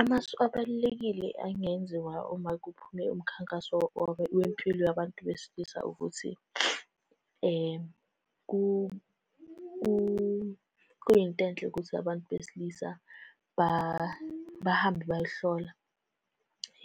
Amasu abalulekile angenziwa uma kuphume umkhankaso wempilo yabantu besilisa ukuthi, kuyinto enhle ukuthi abantu besilisa bahambe bayohlola